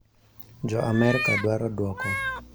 " Jo Amerka dwaro dwoko